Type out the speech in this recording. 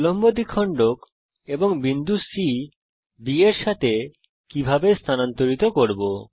উল্লম্ব দ্বিখণ্ডক এবং বিন্দু C B এর সাথে কিভাবে স্থানান্তরিত করব